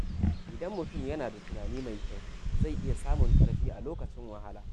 Idan mutum yana da tunani mai kyau, zai iya samun ƙarfi a lokacin wahala.